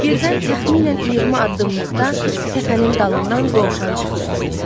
Birdən təxminən 20 addımlıqda təpənin dalından dovşan çıxdı.